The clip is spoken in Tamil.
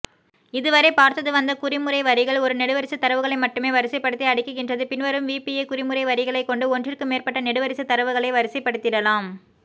இதுவரை பார்ததுவந்த குறிமுறைவரிகள் ஒரு நெடுவரிசை தரவுகளைமட்டுமே வரிசைபடுத்தி அடுக்கிடுகின்றது பின்வரும் விபிஏகுறிமுறைவரிகளை கொண்டு ஒன்றிற்குமேற்பட்ட நெடுவரிசை தரவுகளை வரிசைபடுத்திடலாம்